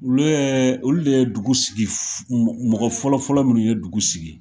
Olu ye olu de ye dugu sigi mɔgɔ fɔlɔfɔlɔ minnu ye dugu sigi!